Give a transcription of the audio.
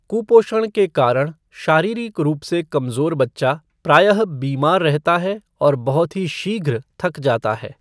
कुपोषण के कारण शारीरिक रूप से कमज़ोर बच्चा प्रायः बीमार रहता है और बहुत ही शीघ्र थक जाता है।